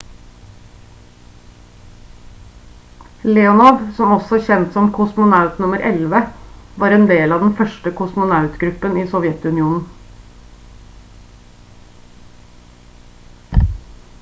leonov også kjent som «kosmonaut nr. 11» var en del av den første kosmonautgruppen i sovjetunionen